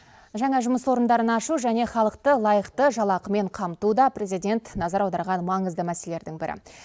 жаңа жұмыс орындарын ашу және халықты лайықты жалақымен қамту да президент назар аударған маңызды мәселелердің бірі